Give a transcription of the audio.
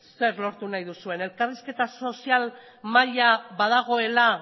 zer lortu nahi duzuen elkarrizketa sozial mahaia badagoela